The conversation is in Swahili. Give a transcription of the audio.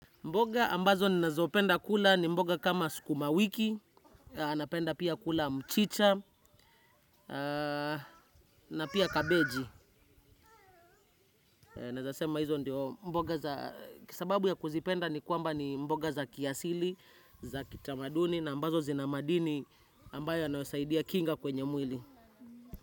Mboga ambazo ninazopenda kula ni mboga kama skumawiki, napenda pia kula mchicha, na pia kabeji. Nezasema hizo ndio mboga za kisababu ya kuzipenda ni kwamba ni mboga za kiasili, za kitamaduni, na ambazo zina madini ambayo yanayosaidia kinga kwenye mwili.